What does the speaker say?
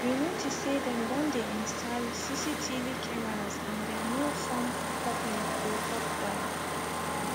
we notice say dem don dey install cctv cameras and dem no form public or tok why